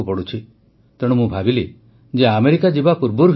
ଆପଣମାନେ ଜାଣିଛନ୍ତି ଯେ ଗୋଟିଏ ଜରୁରୀ କାର୍ଯ୍ୟକ୍ରମ ପାଇଁ ମୋତେ ଆମେରିକା ଯିବାକୁ ପଡ଼ୁଛି